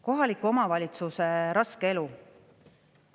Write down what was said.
Kohaliku omavalitsuse raske elu.